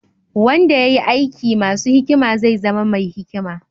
Wanda ya yi aiki masu hikima zai zama mai hikima.